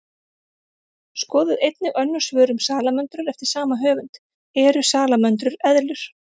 Skoðið einnig önnur svör um salamöndrur eftir sama höfund: Eru salamöndrur eðlur?